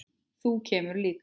Þú kemur líka!